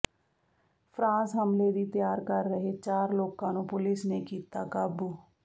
France ਹਮਲੇ ਦੀ ਤਿਆਰ ਕਰ ਰਹੇ ਚਾਰ ਲੋਕਾਂ ਨੂੰ ਪੁਲਿਸ ਨੇ ਕੀਤਾ ਕਾਬੂ